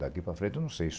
Daqui para frente, não sei.